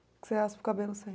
Você raspa o cabelo sempre?